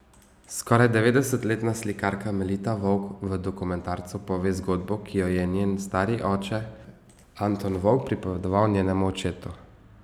Skoraj devetdesetletna slikarka Melita Vovk v dokumentarcu pove zgodbo, ki jo je njen stari oče Anton Vovk pripovedoval njenemu očetu.